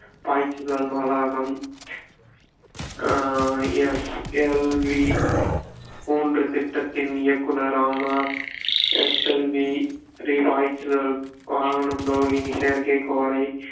பாய்ச்சுதல் மாலாகம் ஆஹ் SLV மூன்று திட்டத்தின் இயக்குனர் ஆனார் SLV பாய்ச்சுதல் வாகனம் ரோகினி செயற்கைக்கோளை